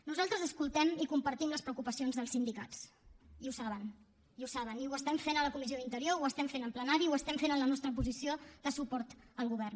nosaltres escoltem i compartim les preocupacions dels sindicats i ho saben i ho saben i ho estem fent a la comissió d’interior ho estem fent en plenari ho estem fent en la nostra posició de suport al govern